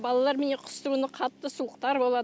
балалар міне қыстыгүні қатты суықтар болады